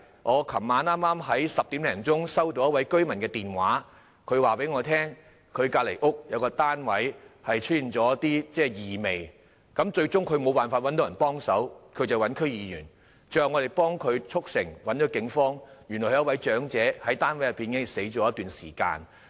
我昨晚10時左右接到一位居民的來電，他告訴我，他家附近一個單位發出異味，他找不到人幫忙，便聯絡區議員，最後我們幫他聯絡警方，發現原來有一位長者已在單位內死去一段時間。